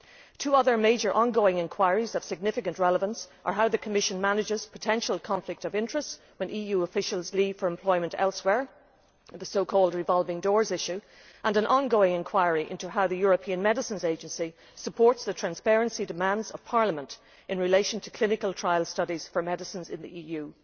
Two other major ongoing inquiries of significant relevance concern how the Commission manages potential conflict of interest when EU officials leave for employment elsewhere the so called revolving doors' issue and an ongoing inquiry into how the European Medicines Agency supports the transparency demands of Parliament in relation to clinical trial studies for medicines in the EU.